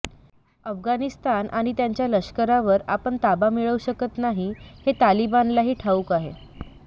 अफगाणिस्तान आणि त्यांच्या लष्करावर आपण ताबा मिळवू शकत नाही हे तालिबानलाही ठाऊक आहे